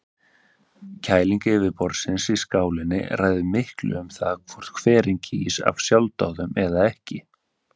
Kæling vatnsborðsins í skálinni ræður miklu um það hvort hverinn gýs af sjálfsdáðum eða ekki.